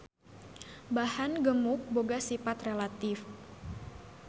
Bahan gemuk boga sipat relatif.